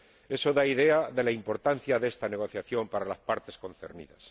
Eso da una idea de la importancia de esta negociación para las partes concernidas.